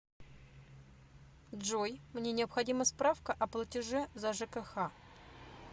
джой мне необходима справка о платеже за жкх